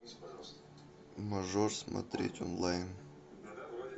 мажор смотреть онлайн